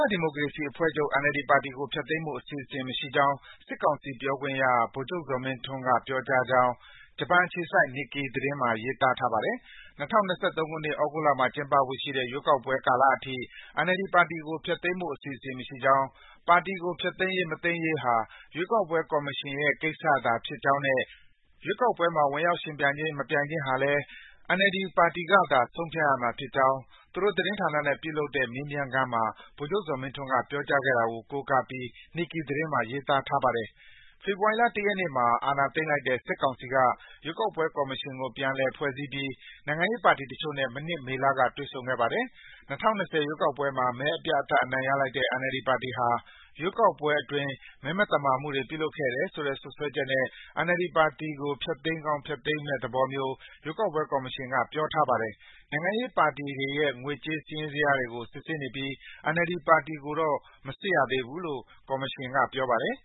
ားဒီမိုကေရစီအဖွဲ့ချုပ် NLD ပါတီကို ဖျက်သိမ်းဖို့ အစီအစဉ်မရှိကြောင်း စစ်ကောင်စီပြောခွင့်ရ ဗိုလ်ချုပ် ဇော်မင်းထွန်းက ပြောကြောင်း ဂျပန်အခြေစိုက် Nikkei မှာ ရေးသားထားပါတယ်။ ၂၀၂၃ ခုနှစ်၊ သြဂုတ်လမှာကျင်းပဖို့ရှိတဲ့ ရွေးကောက်ပွဲကာလအထိ NLD ပါတီကို ဖျက်သိမ်းဖို့ အစီအစဉ် မရှိကြောင်း၊ ပါတီကို ဖျက်သိမ်းရေး ၊ မသိမ်းရေးကိစ္စဟာ ရွေးကောက်ပွဲကော်မရှင်ရဲ့ ကိစ္စသာဖြစ်ကြောင်းနဲ့ ရွေးကောက်ပွဲမှာ ဝင်ရောက် ယှဉ်ပြိုင်ခြင်း ၊ မပြိုင်ခြင်းဟာလည်း NLD ကသာ ဆုံးဖြတ်ရမှာဖြစ်ကြောင်း သူတို့ သတင်းဌာနနဲ့ ပြုလုပ်တဲ့ မေးမြန်းခန်းမှာ ဗိုလ်ချုပ် ဇော်မင်းထွန်းက ပြောကြားခဲ့တာကို ကိုးကားပြီး Nikkei သတင်းမှာ ရေးထားပါတယ်။ ေဖေဖာ်ဝါရီလ ၁ ရက်နေ့မှာ အာဏာသိမ်းလိုက်တဲ့ စစ်ကောင်စီက ရွေးကောက်ပွဲကော်မရှင်ကို ပြန်လည် ဖွဲ့စည်းပြီး နိုင်ငံရေးပါတီတချို့နဲ့ မနှစ် မေလက တွေ့ဆုံခဲ့ပါတယ်။ ၂၀၂၀ ရွေးကောက်ပွဲမှာ မဲအပြတ်အသတ် အနိုင်ရလိုက်တဲ့ NLD ပါတီဟာ ရွေးကောက်ပွဲအတွင်း မဲမသမာမှုတွေ ပြုလုပ်ခဲ့တယ်ဆိုတဲ့ စွပ်စွဲချက်နဲ့ NLD ပါတီကို ဖျက်သိမ်းကောင်း ဖျက်သိမ်းမယ့်သေဘာမျိုး ရွေးကောက်ပွဲ ကော်မရှင်က ပြောထားပါတယ်။ နိုင်ငံရေးပါတီတွေရဲ့ ငွေကြး စာရင်းဇယားတွေကို စစ်ဆေးနေပြီး NLD ပါတီကိုတော့ မစစ်ရ သေးဘူးလို့ ကော်မရှင်က ပြောပါတယ်